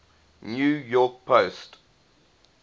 new york post